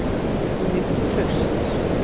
Hún nýtur trausts.